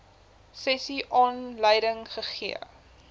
sessie aanleiding gegee